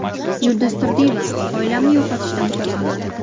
Yulduz Turdiyeva: Oilamni yo‘qotishdan qo‘rqaman.